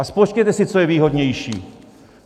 A spočtěte si, co je výhodnější.